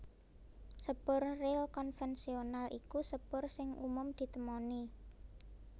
Sepur ril konvensional iku sepur sing umum ditemoni